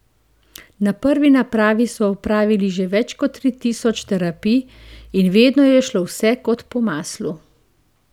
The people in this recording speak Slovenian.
Na prvi napravi so opravili že več kot tri tisoč terapij in vedno je šlo vse kot po maslu.